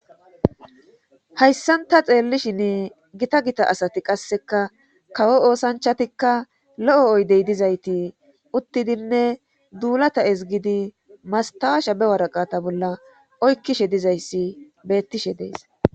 hayssanta xeellishinn gita gita asati qasseka kawo oosanchatikka lo7o oydey dizayti uttidinne duulata is gidi mastawa shabe waraqata bolla oykkishe dizayssi beettishe dees